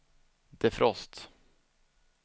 defrost